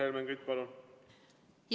Helmen Kütt, palun!